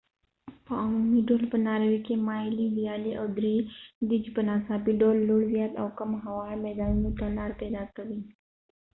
په عمومي ډول په ناروې کې مایلې ویالې او درې دي چې په ناڅاپي ډول لوړ زیات او کم هوار میدانونو ته لار پیدا کوي